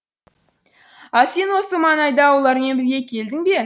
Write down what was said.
ал сен осы маңайда олармен бірге келдің бе